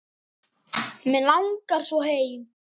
Mig langar svo heim.